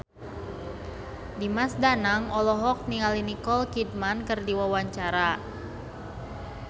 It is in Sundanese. Dimas Danang olohok ningali Nicole Kidman keur diwawancara